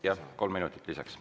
Jah, kolm minutit lisaks.